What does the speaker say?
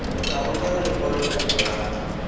o tla romela lekwalokopo la